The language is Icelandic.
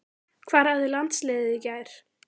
Hvar æfði landsliðið í gær?